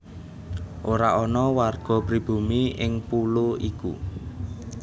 Ora ana warga pribumi ing pulo iku